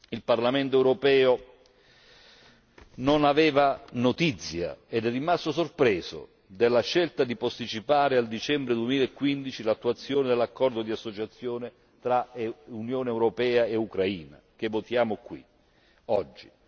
Il Parlamento europeo non aveva notizia, ed è rimasto sorpreso della scelta di posticipare a dicembre 2015 l'attuazione dell'accordo di associazione tra Unione europea e Ucraina, che votiamo qui oggi.